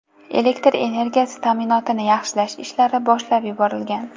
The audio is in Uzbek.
Elektr energiyasi ta’minotini yaxshilash ishlari boshlab yuborilgan.